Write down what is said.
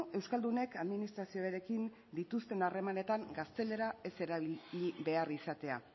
euskaldunek administrazioarekin dituzten harremanetan gaztelera ez erabili behar izatea